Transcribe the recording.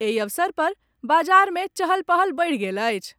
एहि अवसर पर बाजार मे चहल पहल बढ़ि गेल अछि।